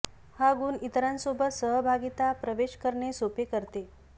हा गुण इतरांसोबत सहभागिता प्रवेश करणे सोपे करते